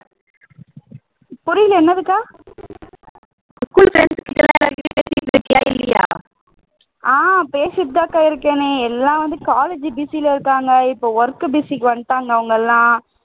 ஆஹ் பேசிட்டுதாக்கா இருக்கேன் எல்லாம் வந்து college busy ல இருக்காங்க இப்போ work busy க்கு வந்துட்டாங்க அவங்க எல்லாம்